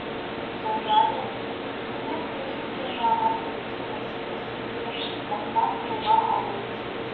сондай ақ үкімет тариф пен бағаны реттеу мәселесін де мықтап қолға алуы тиіс